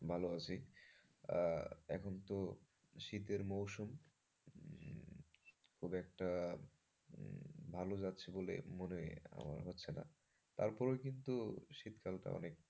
ভালো আছি, এখন তো শীতের মরশুম, উম খুব একটা উম ভালো যাচ্ছে বলে মনে আমার হচ্ছে না। তারপরেও কিন্তু শীতকালটা অনেক।